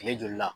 Kile joli la